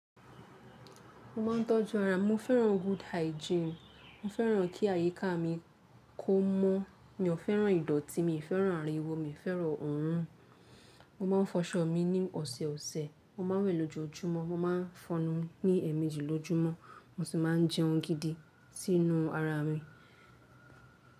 Mo ma ńtọ́jú ara. Mo fẹ́ràn good hygiene. Mo fẹ́ràn kí àyíká mi kó mọ́. Mi ò fẹ́ràn ìdọ̀tí. Mi ò fẹ́ràn ariwo. Mi ò fẹ́ràn òrun. Mo máa ń fọṣọ mi ní ọ̀sẹ̀ ọ̀sẹ̀. Mo máa ń wẹ̀ lójoojúmọ́. Mo máa ń fọnu ní èmejì lójúmọ́, mo sì máa ń jẹun gidi sí inú ara mi.